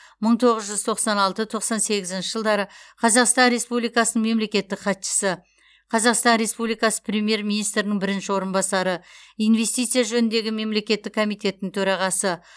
мың тоғыз жүз тоқсан алты тоқсан сегізінші жылдары қазақстан республикасының мемлекеттік хатшысы қазақстан республикасы премьер министрінің бірінші орынбасары инвестиция жөніндегі мемлекеттік комитеттің төрағасы